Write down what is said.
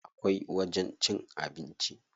Akwai wajen cin abinci.